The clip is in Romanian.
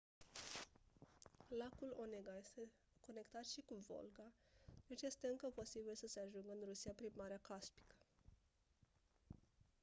lacul onega este conectat și cu volga deci este încă posibil să se ajungă în rusia prin marea caspică